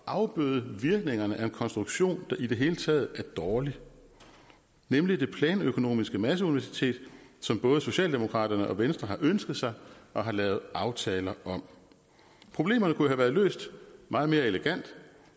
at afbøde virkningerne af en konstruktion der i det hele taget er dårlig nemlig det planøkonomiske masseuniversitet som både socialdemokraterne og venstre har ønsket sig og har lavet aftaler om problemerne kunne have været løst meget mere elegant